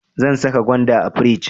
Zan saka gwanda a firij.